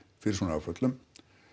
fyrir svona áföllum